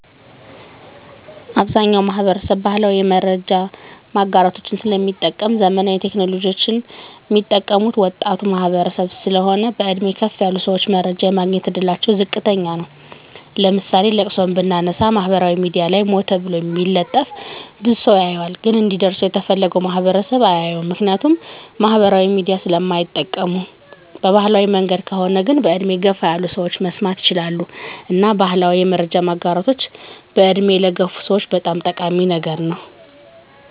አብዛኛዉ ማህበረሰብ ባህላዊ የመረጃ ማጋራቶችን ስለሚጠቀም ዘመናዊ ቴክኖሎጂወችን ሚጠቀሙት ወጣቱ ማህበረሰብ ስለሆን በእድሜ ከፍ ያሉ ሰወች መረጃ የማግኘት እድላቸዉ ዝቅተኛ ነዉ ለምሳሌ ለቅሶን ብናነሳ ማህበራዊ ሚድያ ላይ ሞተ ተብሎ ቢለጠፍ ብዙ ሰዉ ያየዋል ግን እንዲደርሰዉ የተፈለገዉ ማህበረሰብ አያየዉም ምክንያቱም ማህበራዊ ሚዲያ ስለማይጠቀም በባህላዊ መንገድ ከሆነ ግን በእድሜ ገፋ ያሉ ሰወች መስማት ይችላሉ እና ባህላዊ የመረጃ ማጋራቶች በእድሜ ለገፉ ሰወች በጣም ጠቃሚ ነገር ነዉ